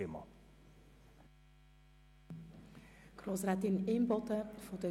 Wir fahren um 13.00 Uhr weiter.